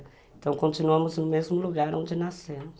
Então continuamos no mesmo lugar onde nascemos.